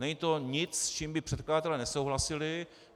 Není to nic, s čím by předkladatelé nesouhlasili.